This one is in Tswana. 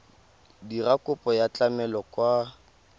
dira kopo ya tlamelo kwa